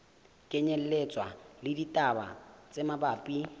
kenyelletswa le ditaba tse mabapi